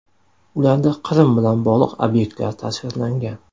Ularda Qrim bilan bog‘liq obyektlar tasvirlangan.